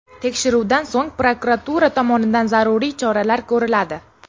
Tekshiruvdan so‘ng, prokuratura tomonidan zaruriy choralar ko‘riladi.